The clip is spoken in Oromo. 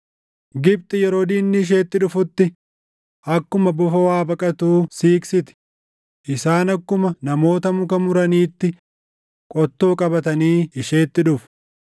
Gibxi yeroo diinni isheetti dhufutti akkuma bofa waa baqatuu siiqsiti; isaan akkuma namoota muka muraniitti qottoo qabatanii isheetti dhufu.